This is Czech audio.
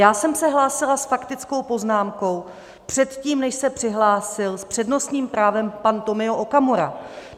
Já jsem se hlásila s faktickou poznámkou předtím, než se přihlásil s přednostním právem pan Tomio Okamura.